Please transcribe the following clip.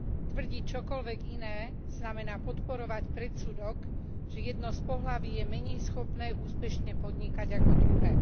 Tvrdiť čokoľvek iné, znamená podporovať predsudok, že jedno z pohlaví je menej schopné úspešne podnikať ako druhé.